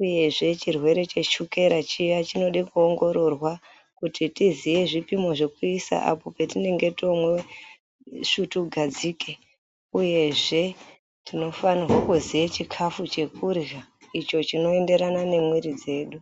Uyezve chirwere cheshukera chiya chinoda kuongororwa kuti tiziye zvipimo zvekuisa apo patinenge tomwa svutugadzike. Uyezve tinofanirwa kuziya chikafu chekurya icho chinoenderana nemwiiri dzedu.